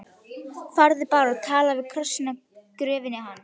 Farðu bara og talaðu við krossinn á gröfinni hans.